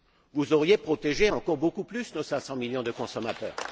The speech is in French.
Vous auriez protégé encore beaucoup plus nos cinq cent millions de consommateurs.